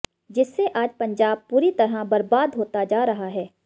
जिससे आज पंजाब पूरी तरह बरबाद होता जा रहा है